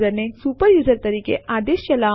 પ્રથમ આપણે ટર્મિનલ ખોલીશું